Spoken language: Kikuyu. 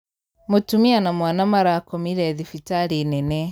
Mũtumia na mwana marakomire thibitarĩnene.